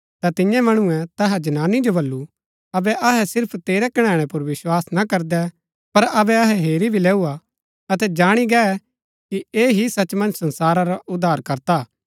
ता तियें मणुऐ तैहा जनानी जो बल्लू अबै अहै सिर्फ तेरै कणैणै पुर विस्वास ना करदै पर अबै अहै हेरी भी लेऊ हा अतै जाणी गै कि ऐह ही सच मन्ज संसारा रा उद्धारकर्ता हा